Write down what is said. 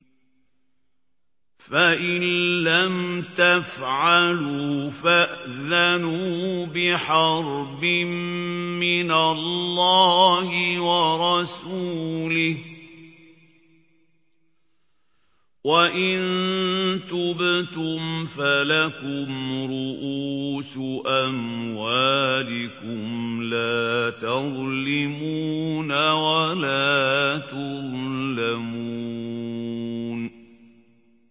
فَإِن لَّمْ تَفْعَلُوا فَأْذَنُوا بِحَرْبٍ مِّنَ اللَّهِ وَرَسُولِهِ ۖ وَإِن تُبْتُمْ فَلَكُمْ رُءُوسُ أَمْوَالِكُمْ لَا تَظْلِمُونَ وَلَا تُظْلَمُونَ